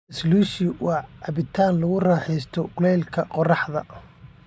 Slushie waa cabitaan lagu raaxaysto kulaylka qorraxda.